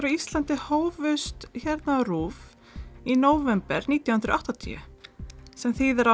á Íslandi hófust hérna á RÚV í nóvember nítján hundruð og áttatíu sem þýðir að